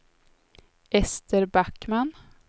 Ester Backman